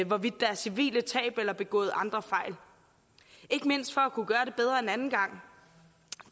hvorvidt der er civile tab eller begået andre fejl ikke mindst for at kunne gøre det bedre en anden gang